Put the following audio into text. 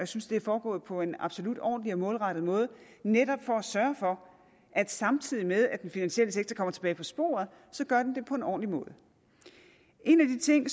synes det er foregået på en absolut ordentlig og målrettet måde netop for at sørge for at samtidig med at den finansielle sektor kommer tilbage på sporet gør den det på en ordentlig måde en af de ting